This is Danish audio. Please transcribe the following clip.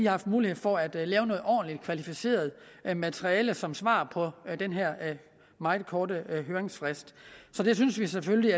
haft mulighed for at lave et ordentligt og kvalificeret materiale som svar på den her meget korte høringsfrist så det synes vi selvfølgelig